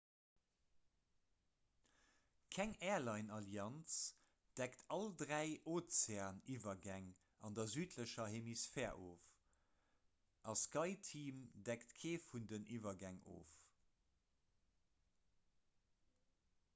keng airline-allianz deckt all dräi ozeaniwwergäng an der südlecher hemisphär of a skyteam deckt kee vun den iwwergäng of